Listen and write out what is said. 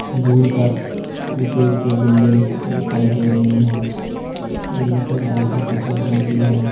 दूर तक ऊंचे ऊंचे बिल्डिंग दिखाई दे रही हैं इनमें से ज्यादातर सफेद रंग की है।